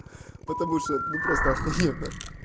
потому что ну просто ахуенно